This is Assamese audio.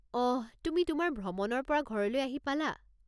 অহ, তুমি তোমাৰ ভ্ৰমণৰ পৰা ঘৰলৈ আহি পালা?